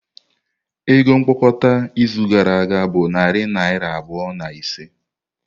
Ego mkpokọta izu gara aga bụ narị naira abụọ na ise.